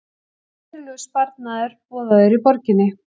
Verulegur sparnaður boðaður í borginni